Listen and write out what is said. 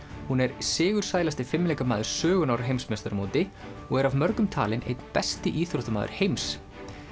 hún er sigursælasti fimleikamaður sögunnar á heimsmeistaramóti og er af mörgum talin einn besti íþróttamaður heims